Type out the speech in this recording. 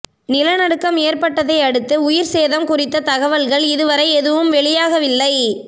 நிலநடுக்கம் ஏற்பட்டதையடுத்து உயிர் சேதம் குறித்த தகவல்கள் இதுவரை எதுவும் வெளியாகவில்லை